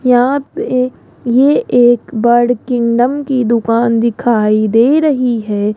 यहां पे ये एक बर्ड किंगडम दुकान दिखाई दे रही है।